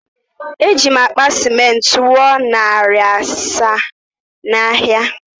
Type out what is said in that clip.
Eji'm akpa ciment rụọ narị narị asaa n’ahịa ahịa